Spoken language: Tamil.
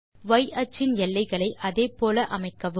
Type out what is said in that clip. y அச்சின் எல்லைகளை அதே போல அமைக்கவும்